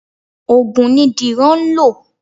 Ògùn ni Dìran ń lọ.